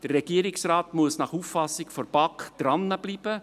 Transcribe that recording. Der Regierungsrat muss nach Auffassung der BaK dranbleiben.